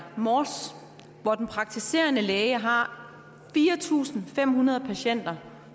mors hvor den praktiserende læge har fire tusind fem hundrede patienter